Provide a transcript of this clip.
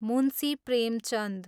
Munshi Premchand